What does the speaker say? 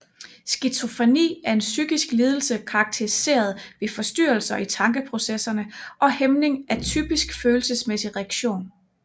Skizofreni er en psykisk lidelse karakteriseret ved forstyrrelser i tankeprocesserne og hæmning af typisk følelsesmæssig reaktion